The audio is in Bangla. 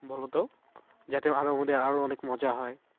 বলতো যাতে আরো আমাদের আরো অনেক মজা হয়।